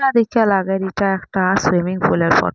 এটা দেখিয়া লাগের এটা একটা সুইমিং পুলের ফোট--